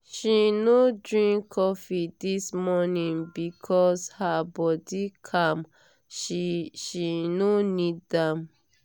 she no drink coffee this morning because her body calm she she no need am.